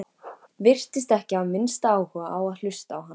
Virtist ekki hafa minnsta áhuga á að hlusta á hann.